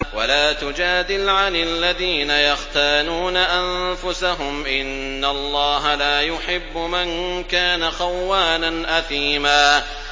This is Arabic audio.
وَلَا تُجَادِلْ عَنِ الَّذِينَ يَخْتَانُونَ أَنفُسَهُمْ ۚ إِنَّ اللَّهَ لَا يُحِبُّ مَن كَانَ خَوَّانًا أَثِيمًا